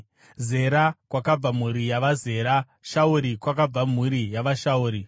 Zera, kwakabva mhuri yavaZera; Shauri kwakabva mhuri yavaShauri.